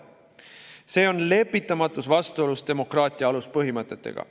See on lepitamatus vastuolus demokraatia aluspõhimõtetega.